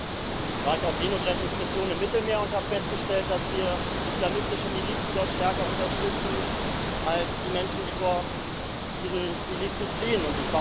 Und dann war ich auf Seenotrettungsmission im Mittelmeer und habe festgestellt, dass wir islamistische Milizen dort stärker unterstützen als die Menschen, die vor diesen Milizen fliehen.